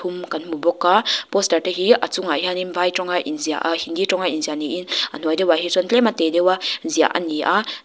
umm ka hmu bawka poster te hi a chungah hian vai tawnga inziah ah hindi tawnga inziah ni in a hnuai deuhah hi chuan tlema tê deuha ziah a ni a--